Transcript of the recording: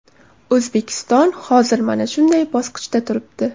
O‘zbekiston hozir mana shunday bosqichda turibdi.